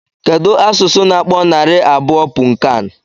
Kedụ asụsụ na-akpọ narị abụọ punnkan?